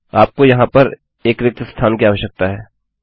आपको यहाँ पर एक रिक्त स्थान कि आवश्यकता है